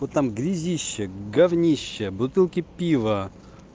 вот там грязище говнище бутылки пива